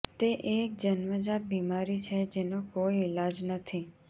તે એક જન્મજાત બીમારી છે જેનો કોઈ ઈલાજ નથી